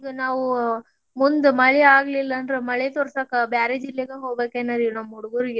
ಈಗ ನಾವು ಮುಂದ್ ಮಳಿ ಆಗ್ಲಿಲ್ಲಾಂದ್ರ ಮಳಿ ತೋರ್ಸಾಕ ಬ್ಯಾರೆ ಜಿಲ್ಲೆನ ಹೋಗಬೇಕನ್ರಿ ನಮ್ಮ್ ಹುಡುಗೋರ್ಗೆ.